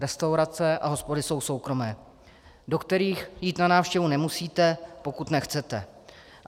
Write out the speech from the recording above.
Restaurace a hospody jsou soukromé, do kterých jít na návštěvu nemusíte, pokud nechcete.